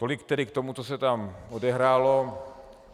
Tolik tedy k tomu, co se tam odehrálo.